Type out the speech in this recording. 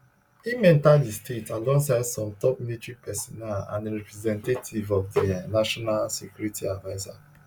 im enta di state alongside some top military personnel and a representative of di national security adviser